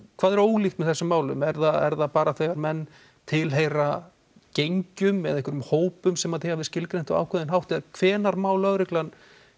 hvað er ólíkt með þessum málum er það er það bara þegar menn tilheyra gengjum eða einhverjum hópum sem þið hafið skilgreint á einhvern ákveðinn hátt hvenær má lögreglan